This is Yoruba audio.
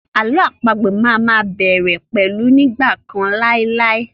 Àlọ́ àpagbè má a má bẹ̀rẹ̀ pẹ̀lú 'ní ìgbà kan láì láì'.